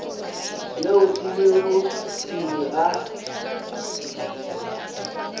yeo e lego pele ga